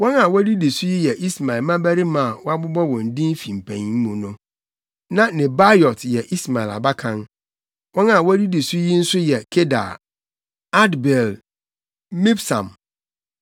Wɔn a wodidi so yi yɛ Ismael mmabarima a wɔabobɔ wɔn din fi mpanyin mu no. Na Nebaiot yɛ Ismael abakan. Wɔn a wodidi so yi nso yɛ Kedar, Adbeel, Mibsam,